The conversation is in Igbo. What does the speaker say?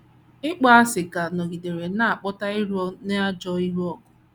Ịkpọasị ka nọgidere na - akpata iro na ajọ ịlụ ọgụ.